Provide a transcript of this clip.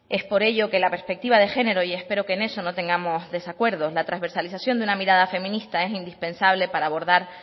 es por ello que la perspectiva de género y espero que en eso no tengamos desacuerdo la transversalización de una mirada feminista es indispensable para abordar